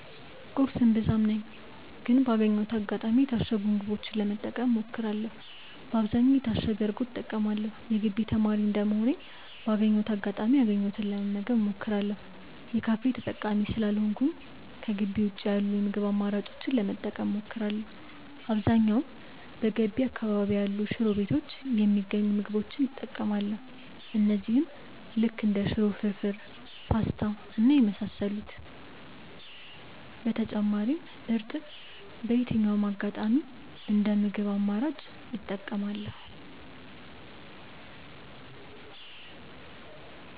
ቁርስ እምብዛም ነኝ ግን ባገኘሁት አጋጣሚ የታሸጉ ምግቦችን ለመጠቀም እሞክራለው በአብዛኛውም የታሸገ እርጎ እጠቀማለው። የግቢ ተማሪ እንደመሆኔ ባገኘሁት አጋጣሚ ያገኘሁትን ለመመገብ እሞክራለው። የካፌ ተጠቃሚ ስላልሆንኩኝ ከጊቢ ውጪ ያሉ የምግብ አማራጮችን ለመጠቀም እሞክራለው። በአብዛኛውም በገቢ አካባቢ ያሉ ሽሮ ቤቶች የሚገኙ ምግቦች እጠቀማለው እነዚህም ልክ እንደ ሽሮ፣ ፍርፉር፣ ፖስታ እና የመሳሰሉት። በተጨማሪም እርጥብ በየትኛውም አጋጣሚ እንደ ምግብ አማራጭ እጠቀማለው።